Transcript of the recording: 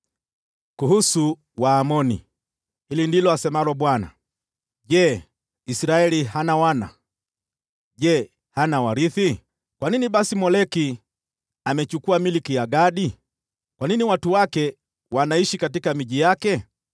Kuhusu Waamoni: Hili ndilo asemalo Bwana : “Je, Israeli hana wana? Je, hana warithi? Kwa nini basi Moleki amechukua milki ya Gadi? Kwa nini watu wake wanaishi katika miji yake?